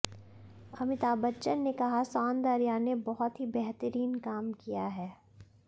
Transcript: अमिताभ बच्चन ने कहा सौंदर्या ने बहुत ही बेहतरीन काम किया है